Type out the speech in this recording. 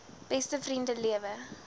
beste vriende lewe